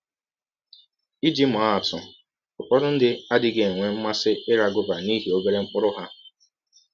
Iji maa atụ: Ụfọdụ ndị adịghị enwe mmasị ịra gọva n’ihi ọbere mkpụrụ ha.